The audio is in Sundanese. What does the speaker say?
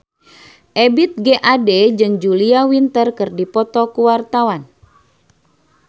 Ebith G. Ade jeung Julia Winter keur dipoto ku wartawan